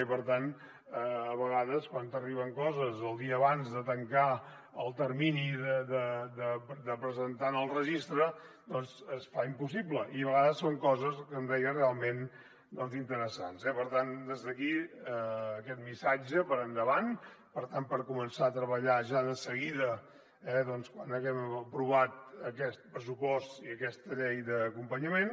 i per tant a vegades quan t’arriben coses el dia abans de tancar el termini de presentar en el registre es fa impossible i a vegades són coses com deia realment interessants eh per tant des d’aquí aquest missatge per endavant per tant per començar a treballar ja de seguida quan haguem aprovat aquest pressupost i aquesta llei d’acompanyament